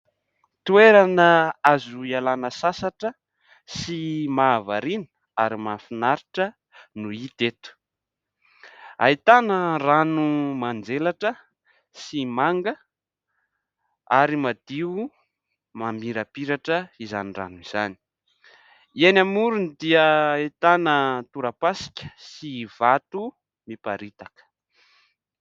Toerana azo ialana sasatra sy mahavariana ary mahafinaritra no hita eto. Ahitana rano manjelatra sy manga ary madio mamirapiratra izany rano izany, eny amoriny dia ahitana tora-pasika sy vato miparitaka.